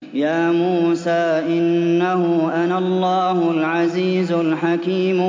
يَا مُوسَىٰ إِنَّهُ أَنَا اللَّهُ الْعَزِيزُ الْحَكِيمُ